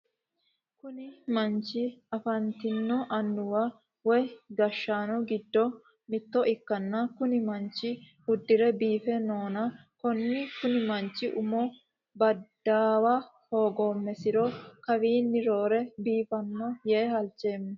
Kunni manchi afantino Annuwa woyi gashaano gido mitto ikanna kunni manchi udire biife noonna konni kunni manchi umu badaawa hoogoomesiro kawiinni roore biifano yee halchoomo.